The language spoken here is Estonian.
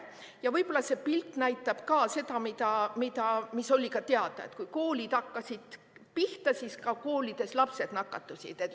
Ja võib-olla see pilt näitab ka seda, mis oli ju teada, et kui koolid pihta hakkasid, siis koolides lapsed nakatusid.